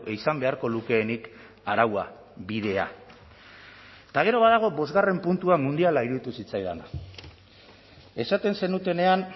izan beharko lukeenik araua bidea eta gero badago bostgarrena puntua mundiala iruditu zitzaidana esaten zenutenean